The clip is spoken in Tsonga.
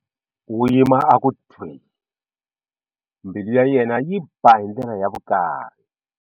U yima a ku thwii, mbilu ya yena yi ba hi ndlela ya vukari.